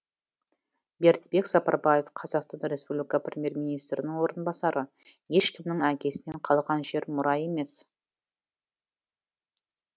бердібек сапарбаев қазақстан республика премьер министрінің орынбасары ешкімнің әкесінен қалған жер мұра емес